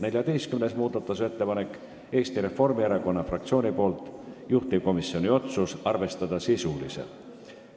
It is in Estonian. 14. muudatusettepanek on Eesti Reformierakonna fraktsioonilt, juhtivkomisjoni otsus on arvestada sisuliselt.